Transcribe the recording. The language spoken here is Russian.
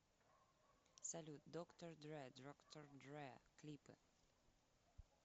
салют доктор дре доктор дре клипы